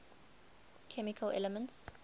chemical elements